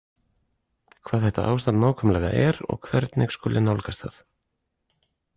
Hvað þetta ástand nákvæmlega er og hvernig skuli nálgast það.